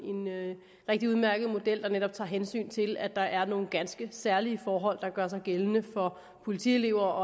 rigtig udmærket model der netop tager hensyn til at der er nogle ganske særlige forhold der gør sig gældende for politielever